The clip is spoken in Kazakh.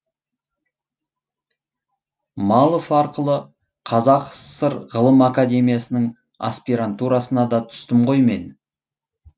малов арқылы қазақ сср ғылым академиясының аспирантурасына да түстім ғой мен